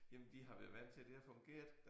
Jamen de har været vant til det har fungeret